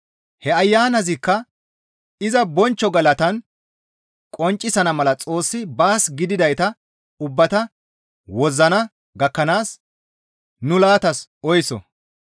He Ayanazikka iza bonchcho galatan qonccisana mala Xoossi baas gididayta ubbata wozzana gakkanaas nu laatas oyso.